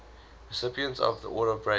recipients of the order of bravery